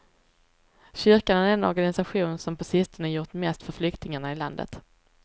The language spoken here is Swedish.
Kyrkan är den organisation som på sistone gjort mest för flyktingarna i landet.